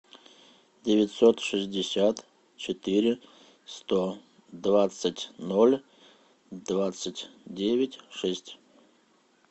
девятьсот шестьдесят четыре сто двадцать ноль двадцать девять шесть